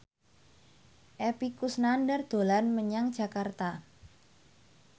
Epy Kusnandar dolan menyang Jakarta